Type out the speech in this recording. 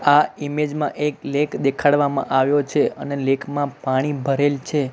આ ઈમેજ માં એક લેક દેખાડવામાં આવ્યો છે અને લેક માં પાણી ભરેલ છે.